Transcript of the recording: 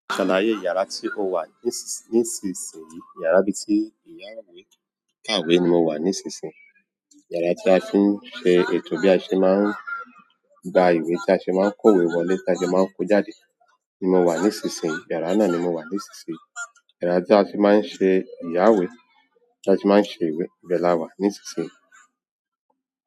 Ṣàlàyé yàrá tí ó wà nísinsìnyí. Yàrá bíi tí ìyá ìwé kàwé ni mo wà nísinsìnyí. Yàrá tí a fi ń ṣe ètò bí a ṣe máa ń gba ìwé tí a ṣe máa ń kó ìwé wọlé tí a ṣe máa ń kó jáde ni mo wà nísinsìnyí. Yàrá náà ni mo wà nísinsìnyí. Yara ti a fi maa n se ti a ti maa n se ìwé ibe lawa nísinsìnyí.